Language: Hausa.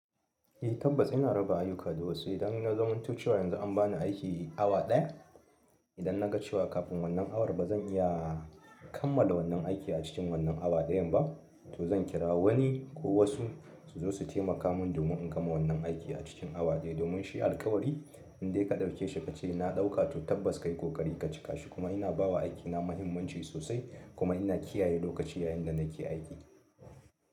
Eh tabbas ina raba ayyuka da wasu. Idan na zamanto cewa yanzu an ba ni aiki awa ɗaya, idan na ga cewa kafin wannan awar ba zan iya kammala wannan aiki a cikin wannan awa ɗayan ba, to zan kira wani ko wasu su zo su taimaka mun domin in gama wannan aiki a cikin awa ɗaya. Domin shi alkawari in dai ka ɗauke shi ka ce na ɗauka to tabbas kayi kokari ka cika shi. Kuma ina ba wa aikina muhimmanci sosai kuma ina kiyaye lokaci yayin da nake aiki.